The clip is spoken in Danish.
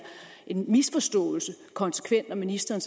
en misforståelse når ministeren